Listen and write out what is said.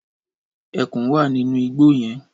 Ẹkùn wà nínú igbó yẹn.